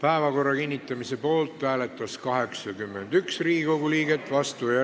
Päevakorra kinnitamise poolt hääletas 81 Riigikogu liiget, vastuolijaid ega erapooletuid ei olnud.